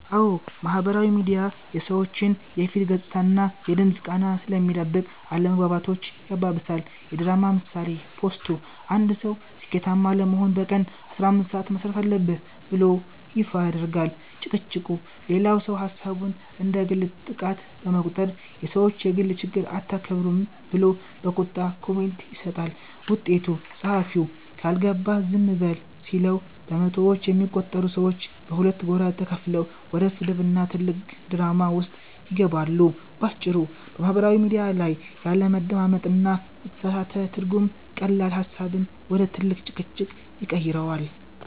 አዎ፣ ማህበራዊ ሚዲያ የሰዎችን የፊት ገጽታና የድምፅ ቃና ስለሚደብቅ አለመግባባቶችን ያባብሳል። የድራማ ምሳሌ፦ ፖስቱ፦ አንድ ሰው "ስኬታማ ለመሆን በቀን 15 ሰዓት መሥራት አለብህ" ብሎ ይፋ ያደርጋል። ጭቅጭቁ፦ ሌላው ሰው ሐሳቡን እንደ ግል ጥቃት በመቁጠር "የሰዎችን የግል ችግር አታከብሩም" ብሎ በቁጣ ኮሜንት ይሰጣል። ውጤቱ፦ ጸሐፊው "ካልገባህ ዝም በል" ሲለው፣ በመቶዎች የሚቆጠሩ ሰዎች በሁለት ጎራ ተከፍለው ወደ ስድብና ትልቅ ድራማ ውስጥ ይገባሉ። ባጭሩ፤ በማህበራዊ ሚዲያ ላይ ያለመደማመጥና የተሳሳተ ትርጉም ቀላል ሐሳብን ወደ ትልቅ ጭቅጭቅ ይቀይረዋል።